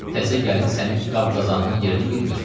Təzə gəlin sənin qab-qazanının yerini bilmir.